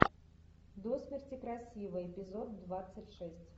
до смерти красива эпизод двадцать шесть